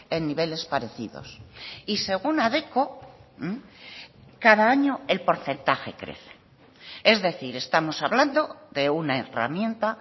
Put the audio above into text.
en niveles parecidos y según adecco cada año el porcentaje crece es decir estamos hablando de una herramienta